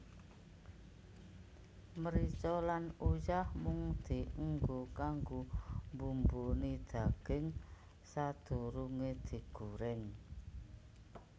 Mrica lan uyah mung dienggo kanggo mbumboni daging sadurunge digoreng